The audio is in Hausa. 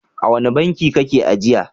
A wane banki kake ajiya?